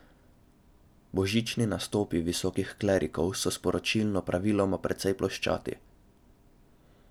Božični nastopi visokih klerikov so sporočilno praviloma precej ploščati.